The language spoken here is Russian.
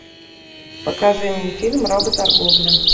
покажи мне фильм работорговля